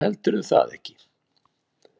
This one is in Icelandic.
Heldurðu það ekki?